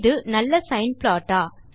இது நல்ல sine plot ஆ